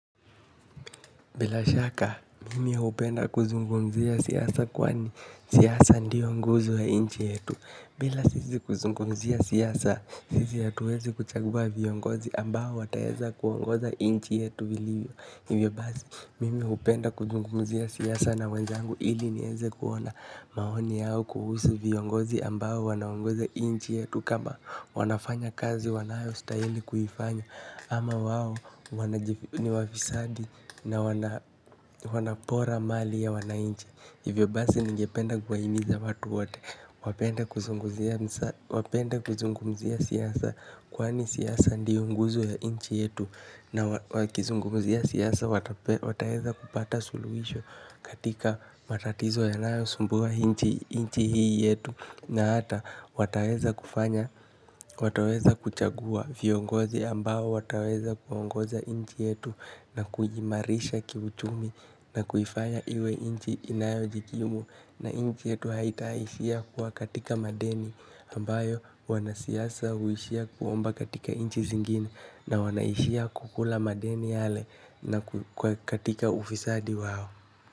Bila shaka, mimi hupenda kuzungumzia siasa kwani siasa ndiyo nguzo ya nchi yetu. Bila sisi kuzungumzia siasa, sisi hatuwezi kuchagua viongozi ambao wataeza kuongoza nchi yetu viliyo. Hivyo basi, mimi hupenda kuzungumzia siasa na wenzangu ili niweze kuona maoni yao kuhusu viongozi ambao wanaongoza nchi yetu. Kama wanafanya kazi wanayostahili kuifanya ama wao ni wafisadi na wanapora mali ya wananchi hivyo basi ningependa kuhimiza watu wote wapende kuzungumzia siasa kwani siasa ndio nguzo ya nchi yetu na wakizungumzia siasa wataweza kupata suluhisho katika matatizo yanayosumbua nchi hii yetu na hata wataweza kufanya, wataweza kuchagua viongozi ambao wataweza kuongoza nchi yetu na kujiimarisha kiuchumi na kuifanya iwe nchi inayojikimu na nchi yetu haitaishia kuwa katika madeni ambayo wanasiasa huishia kuomba katika nchi zingine na wanaishia kukula madeni yale na katika ufisadi wao.